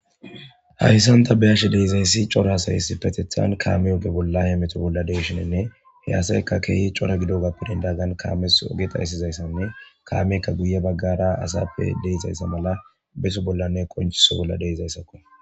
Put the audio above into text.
Harisanta be ashe deizayssi cora hasayssi petethan kaame oge bollahe meto bolla deyshinenne he asayka keehi cora gido gappirin daagan kaames oge xaysizayssanne kaamekka guye baggara asappe deizayssa mala beso bollanne qonchiso bolla deizayssakko.